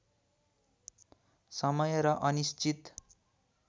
समय र अनिश्चित